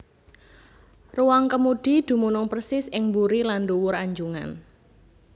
Ruwang kemudi dumunung persis ing buri lan ndhuwur anjungan